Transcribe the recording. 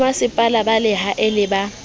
bomasepala ba lehae le ba